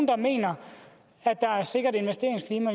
der mener at der er et sikkert investeringsklima